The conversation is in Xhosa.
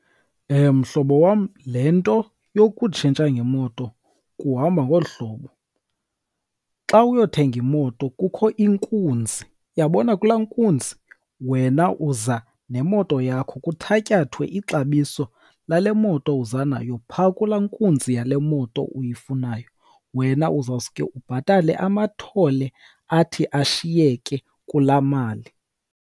Mhlobo wam, le nto yokutshintsha ngemoto kuhamba ngolu hlobo. Xa uyothenga imoto kukho inkunzi. Uyabona kulaa nkunzi? Wena uza nemoto yakho, kuthatyathwe ixabiso lale moto uza nayo phaa kulaa nkunzi yale moto uyifunayo, wena uzawuske ubhatale amathole athi ashiyeke kulaa mali.